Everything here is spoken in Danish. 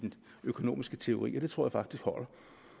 økonomisk teori og det tror jeg faktisk holder